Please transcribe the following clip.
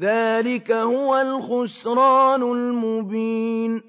ذَٰلِكَ هُوَ الْخُسْرَانُ الْمُبِينُ